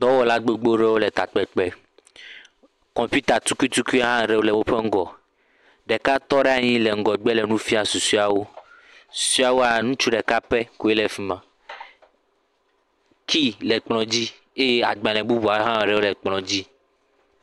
Dɔwɔla gbogbo ɖewo le takpekpe. Kɔmpita tukuitukui aɖe hã le woƒe ŋgɔ. Ɖeka tɔ ɖe anyi le ŋgɔgbe le nu fiam susuewo. Susuewoa, ŋutsu ɖeka koe le afi ma. Key le kplɔ̃ dzi eye agbalẽ bubuawo hã le kplɔ̃ɔ dzi.